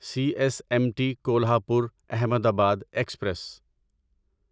C S M T Kolhapur Ahmedabad express